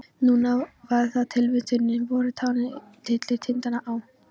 Núna var það tilvitnunin: Vorið tánum tyllir tindana á.